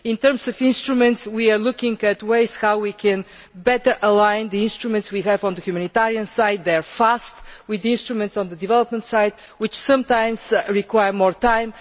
In terms of instruments, we are looking at how we can better align the instruments we have on the humanitarian side, which work fast, with instruments on the development side, which sometimes require more time.